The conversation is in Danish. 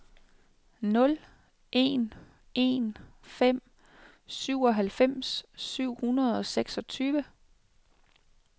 nul en en fem syvoghalvfems syv hundrede og seksogtyve